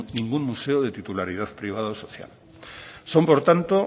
ningún museo de titularidad privada o social son por tanto